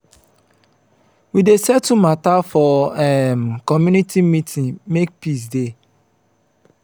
we dey settle mata for um community meeting make peace dey.